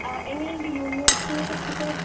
ആ എങ്ങനെ ഇണ്ട് യൂണിവേഴ്സിറ്റിയെ കുറിച്ചിട്ട്